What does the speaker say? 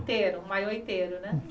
Inteiro, maiô inteiro, né?